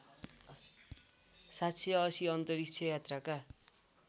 ७८० अन्तरिक्ष यात्राका